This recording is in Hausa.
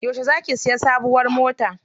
Yauce za ki siya sabuwar mota?